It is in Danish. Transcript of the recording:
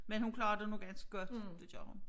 Men hun klarer det nu ganske godt det gør hun